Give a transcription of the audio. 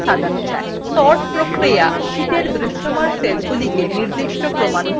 sorting sheetএর দৃশ্যমান সেলগুলিকে নির্দিষ্ট ক্রমানুসারে সাজায়